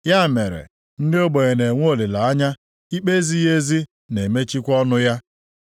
Ya mere, ndị ogbenye na-enwe olileanya, ikpe ezighị ezi na-emechikwa ọnụ ya.